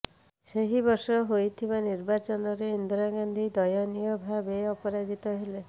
ସେହି ବର୍ଷ ହୋଇଥିବା ନିର୍ବାଚନରେ ଇନ୍ଦିରା ଗାନ୍ଧୀ ଦୟନୀୟ ଭାବେ ପରାଜିତ ହେଲେ